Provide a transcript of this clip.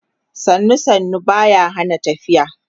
sannu sannu Bata Hana tafiya